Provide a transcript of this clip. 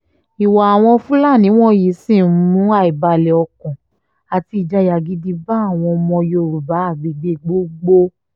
ìwà àwọn fúlàní wọ̀nyí sì ń mú àìbalẹ̀-ọkàn àti ìjayà gidi bá àwọn ọmọ yorùbá agbègbè gbogbo